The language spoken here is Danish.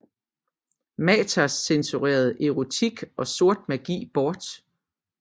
Mathers censurerede erotik og sort magi bort